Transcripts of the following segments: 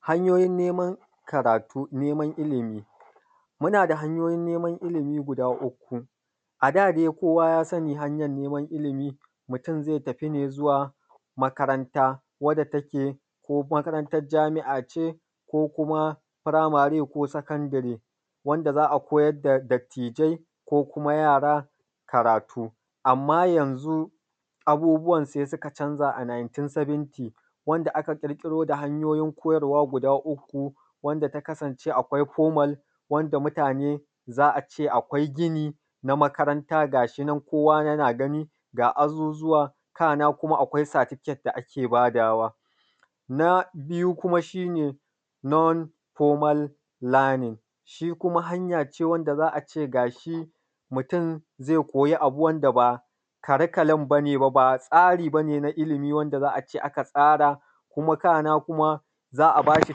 Hanyoyin neman karatu, neman ilimi, muna da hanyoyi neman ilimi guda uku. A da dai kowa ya sani hanyan neman ilimi, mutum ze tafi ne zuwa makaranta, wanda take, ko makarantan jami’a ce, ko kuma firamari, ko sakandiri, wanda za a koyar da dattijai ko kuma yara karatu. Amma yanzu abubuwan se suka canza. a 1970, wanda aka ƙirƙiro da hanyoyi koyarwa guda uku, wanda ta kasance akwai formal, wanda mutane za a ce akwai gini na makaranta gashi nan, kowa yana gani, ga azuzzuwa, kana kuma akwai satifiket da ake badawa. Na biyu kuma shi ne non-formal lernin, shi kuma hanya ce wanda za a ce gashi mutum ze koyi abu, wanda ba karikalum ba ne, ba tsari ba ne na ilimi, wanda za a ce aka tsara, kuma buƙata kuma za a bashi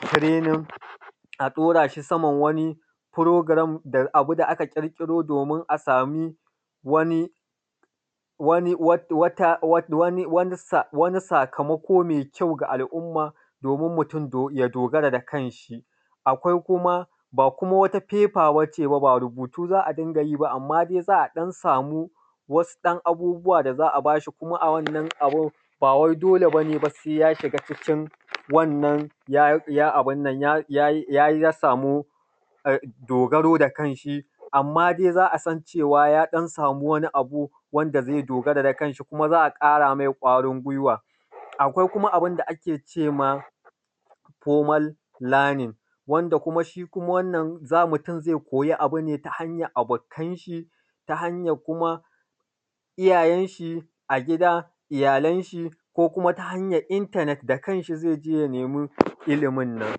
tirenin, a ɗora shi saman wani firogiram, da abu aka ƙirƙiro domin a sami wani wani wata wani sakamako ko me kyau ga alumma, domin mutum ya dogara da kanshi. Akwai kuma, ba kuma wata fefa ba ce ba, rubutu za a dinga yi ba, amma dai za a ɗan samu wasu ɗan abubuwa da za a ba shi, kuma a wannan abu, bawai dole ba se ya shiga cikin wannan ya ya abun nan, ya ya yi, ya sa mu dogara da kanshi. Amma dai za a san cewa ya ɗan samu wani abu wanda ze dogara da kanshi, kuma za a ƙara mai kwarin gweiwa. Akwai kuma abun da ake cema informal lernin, wanda kuma shi kuma, wannan, za mutum ze koyi abun ne ta hanyan bɔkanshi, ta hanyan kuma iyayenshi a gida, iyalanshi, ko kuma ta hanyan intanet, da kanshi ze je ya nemi ilimin nan.